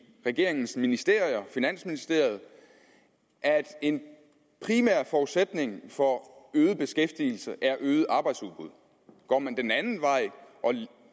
regeringens ministerier i finansministeriet at en primær forudsætning for øget beskæftigelse er øget arbejdsudbud går man den anden vej og